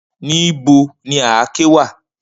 Nibo ni àáké wa?